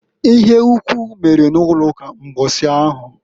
Ịhe ukwu mere n'ụlọụka mbọsị ahụ.